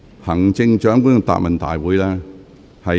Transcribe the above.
行政長官，請繼續發言。